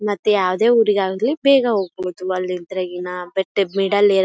ಮತ್ ಯಾವದೇ ಉರಿಗಾಗಲಿ ಬೇಗ ಹೋಗ್ಬಹುದು ಅಲ್ಲಿ ಇದ್ರೆ ಗಿನ ಬಟ್ ಮಿಡ್ಲ್ ಏರಿಯಾ --